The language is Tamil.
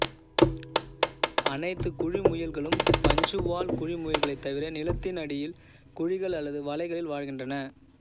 அனைத்துக் குழிமுயல்களும் பஞ்சுவால் குழிமுயல்களைத் தவிர நிலத்தினடியில் குழிகள் அல்லது வளைகளில் வாழ்கின்றன